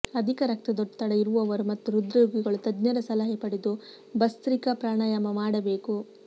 ಅಧಿಕ ರಕ್ತದೊತ್ತಡ ಇರುವವರು ಮತ್ತು ಹೃದ್ರೋಗಿಗಳು ತಜ್ಞರ ಸಲಹೆ ಪಡೆದು ಭಸ್ತ್ರಿಕಾ ಪ್ರಾಣಾಯಾಮ ಮಾಡಬೇಕು